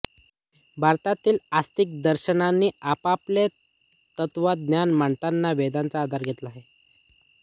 भारतीय आस्तिक दर्शनानी आपापले तत्त्वज्ञान मांडताना वेदांचा आधार घेतला आहे